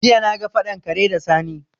Jiya na ga faɗan kare da Sani